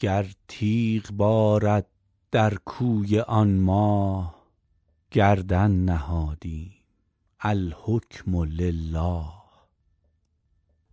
گر تیغ بارد در کوی آن ماه گردن نهادیم الحکم لله